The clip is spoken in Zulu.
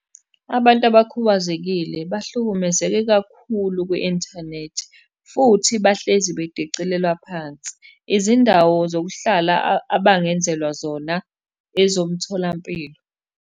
Abantu abakhubazekile bahlukumezeke kakhulu kwi-inthanethi, futhi bahlezi bedicilelwa phansi. Izindawo zokuhlala abangenzelwa zona, ezomtholampilo.